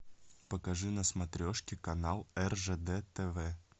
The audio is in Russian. покажи на смотрешке канал ржд тв